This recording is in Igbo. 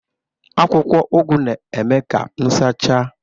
Akwụkwọ Ugu na-eme ka m sachaa